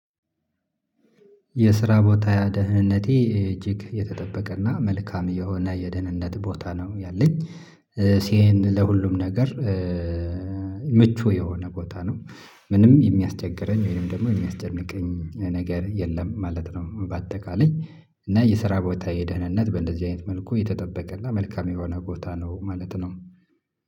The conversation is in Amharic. የስራ ቦታ ደህንነቴ እጅግ የተጠበቀና መልካም የሆነ የደህንነት ቦታ ነው ያለኝ ሲኤን ለሁሉም ነገር። ኧ ምቹ የሆነ ቦታ ነው ምንም የሚያስቸግረኝ ወይንም ደግሞ የሚያስጨንቀኝ ነገር የለም ማለት ነው። በአጠቃላይ እና የስራ ቦታየ ደህንነት በእንደዚህ አይነት መልኩ የተጠበቀና መልካም የሆነ ቦታ ነው ማለት ነው